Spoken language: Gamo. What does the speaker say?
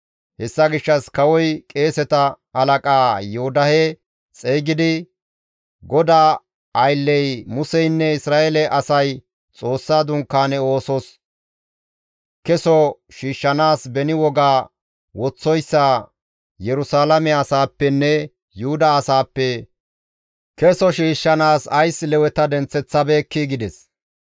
Hessa gishshas kawoy qeeseta halaqa Yoodahe xeygidi, «GODAA aylley Museynne Isra7eele asay Xoossa Dunkaane oosos keso shiishshanaas beni woga woththoyssa Yerusalaame asaappenne Yuhuda asaappe keso shiishshanaas ays Leweta denththeththabeekkii?» gides.